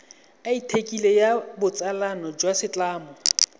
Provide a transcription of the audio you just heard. athikele ya botsalano jwa setlamo